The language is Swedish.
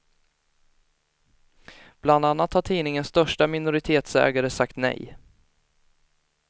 Bland annat har tidningens största minoritetsägare sagt nej.